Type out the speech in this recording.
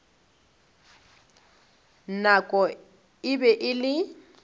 nako e be e le